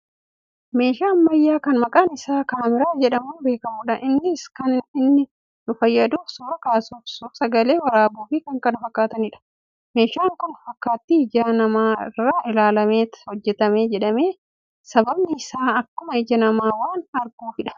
meeshaa ammayyaa kan maqaan isaa kaameraa jedhamuun beekkamudha. innis kan inni nu fayyaduuf suura kaasuuf, suursagalee waraabuufi kan kana fakkaataniifidha. meeshaan kun fakkaattii ija namaa irraa ilaallameet hojjatame jedhama. sababni isaa akkuma ija namaa waan arguufidha.